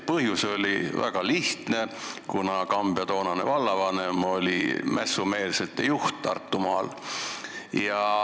Põhjus oli väga lihtne: Kambja toonane vallavanem oli mässumeelsete juht Tartumaal.